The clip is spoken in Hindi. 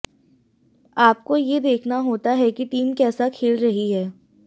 आपको ये देखना होता है कि टीम कैसा खेल रही है